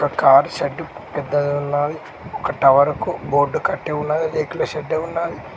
ఒక car shed పెద్దది ఉన్నాది ఒక టవర్ కి బోర్డు కట్టి ఉన్నది రేకుల షెడ్ ఉన్నాది.